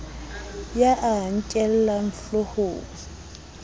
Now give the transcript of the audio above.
ya a a nkellang hloohong